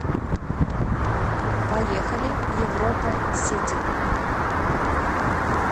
поехали европа сити